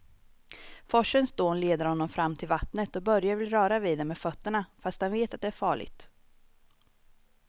Forsens dån leder honom fram till vattnet och Börje vill röra vid det med fötterna, fast han vet att det är farligt.